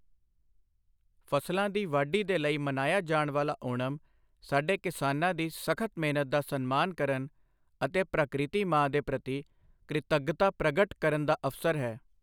ਫਸਲਾਂ ਦੀ ਵਾਢੀ ਦੇ ਲਈ ਮਨਾਇਆ ਜਾਣ ਵਾਲਾ ਓਣਮ, ਸਾਡੇ ਕਿਸਾਨਾਂ ਦੀ ਸਖ਼ਤ ਮਿਹਨਤ ਦਾ ਸਨਮਾਨ ਕਰਨ ਅਤੇ ਪਕ੍ਰਿਤੀ ਮਾਂ ਦੇ ਪ੍ਰਤੀ ਕ੍ਰਿਤੱਗਤਾ ਪ੍ਰਗਟ ਕਰਨ ਦਾ ਅਵਸਰ ਹੈ।